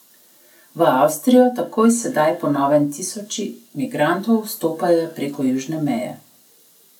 V Avstrijo tako sedaj po novem tisoči migrantov vstopajo prek južne meje.